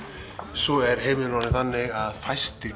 svo er heimurinn orðinn þannig að fæstir